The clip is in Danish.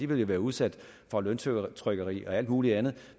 vil jo være udsat for løntrykkeri og alt muligt andet